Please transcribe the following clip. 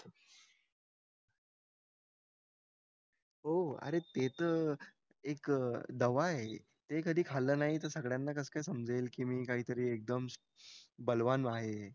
हो अरे ते तर एक दवा आहे ते कधी खाल्लं नाही तर सगळ्यांना कसं काय समजेल मी काहीतरी एकदम बलवान आहे